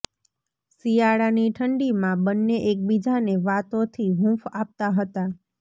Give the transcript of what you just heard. શિયાળા ની ઠંડી માં બન્ને એકબીજા ને વાતો થી હૂંફ આપતા હતા